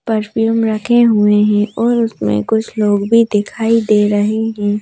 Perfume रखे हुए हैं और उसमें कुछ लोग भी दिखाई दे रहे हैं।